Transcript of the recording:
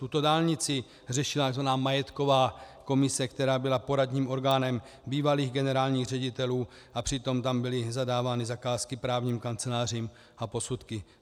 Tuto dálnici řešila tzv. majetková komise, která byla poradním orgánem bývalých generálních ředitelů, a přitom tam byly zadávány zakázky právním kancelářím a posudky.